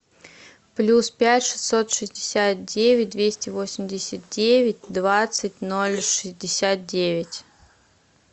плюс пять шестьсот шестьдесят девять двести восемьдесят девять двадцать ноль шестьдесят девять